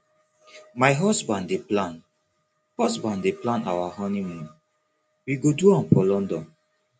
my husband dey plan husband dey plan our honeymoon we go do am for london